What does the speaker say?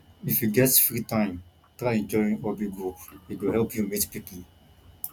if you get free time try join hobby group e go help you meet people